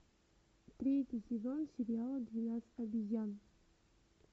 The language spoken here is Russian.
третий сезон сериала двенадцать обезьян